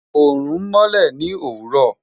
Oorun nmọlẹ ni owurọ